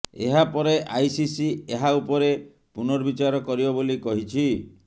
ଏହା ପରେ ଆଇସିସି ଏହା ଉପରେ ପୁନର୍ବିଚାର କରିବ ବୋଲି କହିଛି